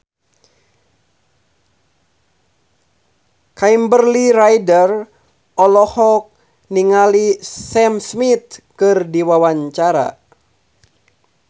Kimberly Ryder olohok ningali Sam Smith keur diwawancara